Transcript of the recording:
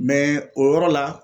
Mɛ o yɔrɔ la